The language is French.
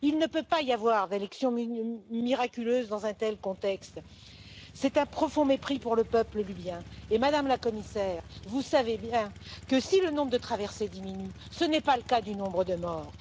Il ne peut pas y avoir d'élections miraculeuses dans un tel contexte. C'est un profond mépris pour le peuple libyen et Madame la Commissaire, vous savez bien que si le nombre de traversées diminue, ce n'est pas le cas du nombre de morts.